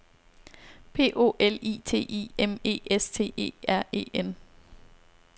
P O L I T I M E S T E R E N